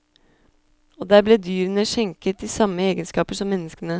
Og der ble dyrene skjenket de samme egenskaper som menneskene.